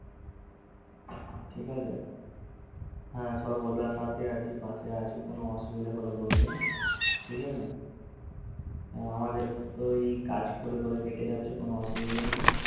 ঠিক আছে, হ্যা কোনো অসুবিধে হলে বইলো ঠিক আছে উম আমাদের তোই কাজ করে করে কেটে যাচ্ছে কোনো অসুবিধে নেই।